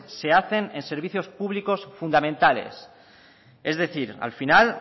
se hacen en servicios públicos fundamentales es decir al final